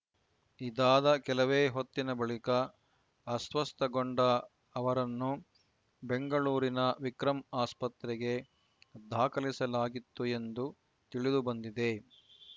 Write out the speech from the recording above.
ಇದಾದ ಕೆಲವೇ ಹೊತ್ತಿನ ಬಳಿಕ ಅಸ್ವಸ್ಥಗೊಂಡ ಅವರನ್ನು ಬೆಂಗಳೂರಿನ ವಿಕ್ರಂ ಆಸ್ಪತ್ರೆಗೆ ದಾಖಲಿಸಲಾಗಿತ್ತು ಎಂದು ತಿಳಿದು ಬಂದಿದೆ